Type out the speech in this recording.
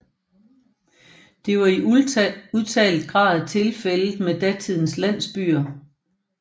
Det var i udtalt grad tilfældet med datidens landsbyer